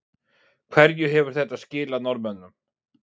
Hverju hefur þetta skilað Norðmönnum?